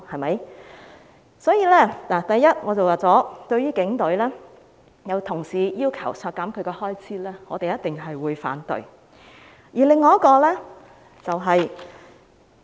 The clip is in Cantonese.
因此，首先，我已經說過，對於有同事要求削減警隊的開支，我們一定會反對。